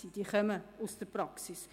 Diese Leute kommen aus der Praxis.